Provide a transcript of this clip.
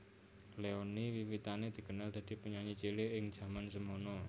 Leony wiwitané dikenal dadi penyanyi cilik ing jaman semana